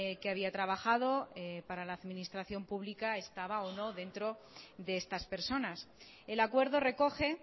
que había trabajado para la administración pública estaba o no dentro de estas personas el acuerdo recoge